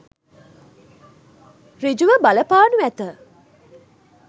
සෘජු ව බලපානු ඇත.